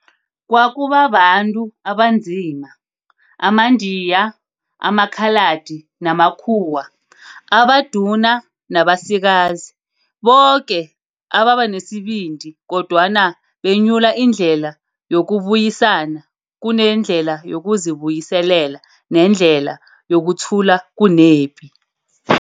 kwakuba baNtu abaNzima, amaNdiya, amaKhaladi namaKhuwa, abaduna nabasikazi, boke ababenesibindi kodwana benyula indlela yokubuyisana kunendlela yokuzi buyiselela nendlela yokuthula kunepi.